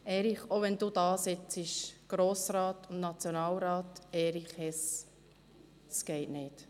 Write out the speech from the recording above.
Erich Hess, auch wenn Sie dasitzen, Grossrat und Nationalrat Erich Hess: Das geht nicht!